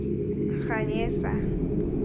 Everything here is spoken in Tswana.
ganyesa